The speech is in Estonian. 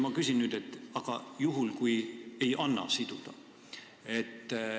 Ma küsin nüüd, et aga mis saab juhul, kui ei anna siduda.